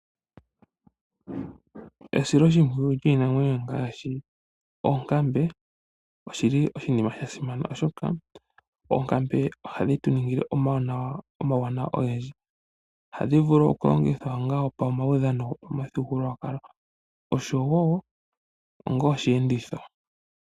Esiloshimpoyu lyiinamwenyo ngaashi oonkambe oshili oshinima sha simana oshoka ,oonkamve ohadhi tu ningile omawanawa ohadhi vulu okulongitha onga pomaudhano gomuthigululwakali oshowo ongo osheenditho.